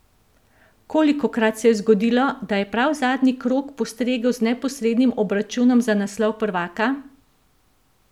Kolikokrat se je zgodilo, da je prav zadnji krog postregel z neposrednim obračunom za naslov prvaka?